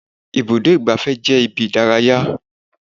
Ibùdó igbàfẹ́ jẹ́ ibi ìdárayá.